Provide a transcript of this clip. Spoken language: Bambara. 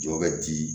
Jɔ bɛ di